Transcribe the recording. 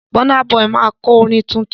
Bọ́ná bọyì máa kọ orin tuntun.